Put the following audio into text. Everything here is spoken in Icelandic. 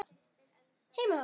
Þú veist, Lömbin þagna.